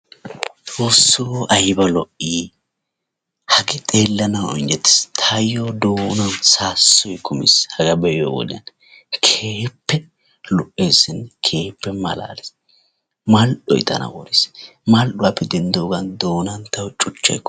Xoosso ayba lo"i hagee xeellanawu injjetiis taayyo doonan saassoy kumiis hagaa be'iyode keehippe lo'eesinne keehippe malaalees mal"oy tana worees mal"uwappe denddoogan doonan tawu cuchchay kumiis.